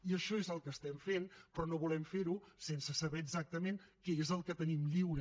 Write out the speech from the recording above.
i això és el que fem però no volem fer ho sense saber exactament què és el que tenim lliure